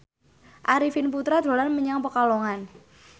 Arifin Putra dolan menyang Pekalongan